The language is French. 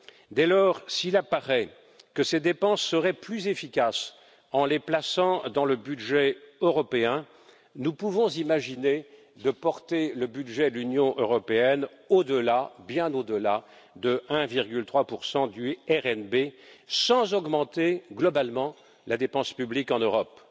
Dès lors, s'il apparaît que ces dépenses seraient plus efficaces en les plaçant dans le budget européen, nous pouvons imaginer de porter le budget de l'Union européenne, au delà, bien au delà, de 1,3 du revenu national brut sans augmenter globalement la dépense publique en Europe.